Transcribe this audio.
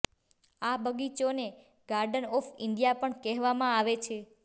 આ બગીચોને garden of India પણ કહેવામાં આવે છે